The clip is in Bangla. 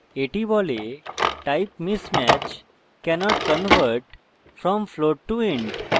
the বলে type mismatch: cannot convert from float to int